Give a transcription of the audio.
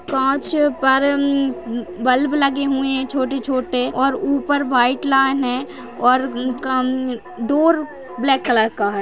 काँचे पर हं हं बल्ब लगे हुए है छोटो-छोटे और ऊपर व्हाइट लान है और उनका हं हं डोर ब्लॅक कलर का है।